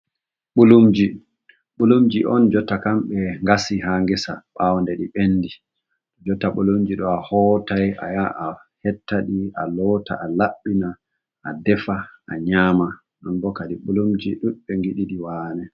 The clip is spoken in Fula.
Ɓulumji ɓulumji'on jotta kam ɓe ngasi ha gesa ɓawo nde di bendi. Jotta ɓulumji ɗo ahoota ayaha ahettaɗi aloota alabɓina adefa a nyama, nonbo kadi bulumji ɗudɓe giɗiɗi wane.